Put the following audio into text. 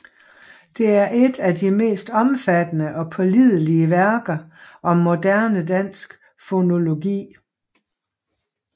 Det er et af de mest omfattende og pålidelige værker om moderne dansk fonologi